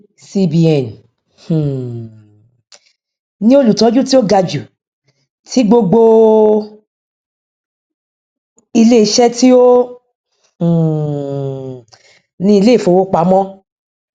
cbn um ní olùtọjú tí ó ga jù ti gbogbo iléiṣẹ tí ó um ní iléìfowọpamọ